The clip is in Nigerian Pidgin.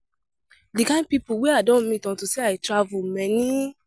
The kin people wey I don meet unto say I dey travel many